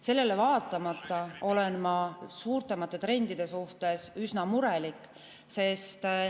Sellele vaatamata olen ma suuremate trendide suhtes üsna murelik.